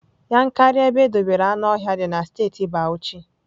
Yankari ebe edobere anuohia dị na steeti bauchi.